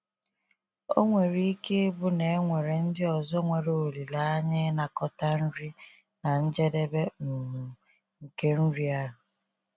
Ọ nwere ike ịbụ na e nwere ndị ọzọ nwere olileanya ịnakọta nri na njedebe um nke nri ahụ.